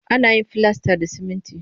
Ana yin filasta da siminti